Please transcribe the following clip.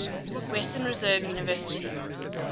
western reserve university